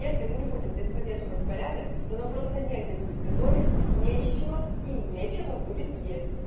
если мы не будем здесь поддерживать порядок то нам просто негде будет готовить не из чего и нечего будет есть